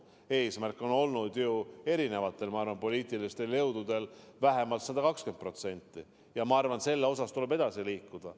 Eesmärk on ju erinevatel poliitilistel jõududel olnud vähemalt 120% ja selles suunas tuleb edasi liikuda.